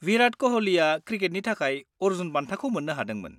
-विराट क'हलीआ क्रिकेटनि थाखाय अर्जुन बान्थाखौ मोननो हादोंमोन।